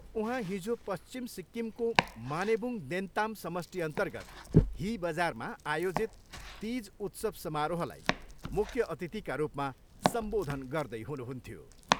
उहाँ हिजो पश्चिम सिक्किमको मानेबुङ देन्ताम समष्टिअन्तर्गत ही बजारमा आयोजित तिज उत्सव समारोहलाई मुख्य अतिथिका रूपमा सम्बोधन गर्दै हुनुहुन्थ्यो।